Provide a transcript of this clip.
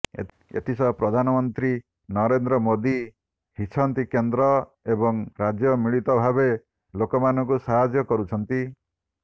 ଏଥିସହ ପ୍ରଧାନମନ୍ତ୍ରୀ ନରେନ୍ଦ୍ର ମୋଦି ହିଛନ୍ତି କେନ୍ଦ୍ର ଏବଂ ରାଜ୍ୟ ମିଳିତ ଭାବେ ଲୋକଙ୍କୁ ସାହାଯ୍ୟ କରୁଛନ୍ତି